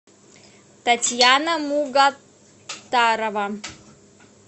татьяна мугаттарова